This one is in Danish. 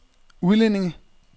udlændinge